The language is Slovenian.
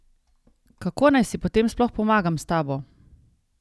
Kako naj si potem sploh pomagam s tabo?